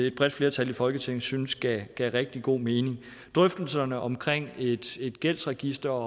et bredt flertal i folketing syntes gav rigtig god mening drøftelserne omkring et gældsregister